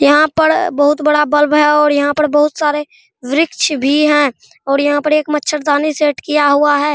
यहाँ पर बहुत बड़ा बल्ब है और यह पर बहुत सारे वृक्ष भी हैं और यह पर एक मचारदानी सेट किया हुआ है।